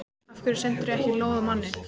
Af hverju sendirðu ekki lóð á manninn?